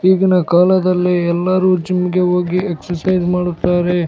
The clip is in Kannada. ಈಗಿನ ಕಾಲದಲ್ಲಿ ಎಲ್ಲರೂ ಜಿಮ್ಗೆ ಹೋಗಿ ಎಕ್ಸೈಜ್ ಮಾಡುತ್ತಾರೆ .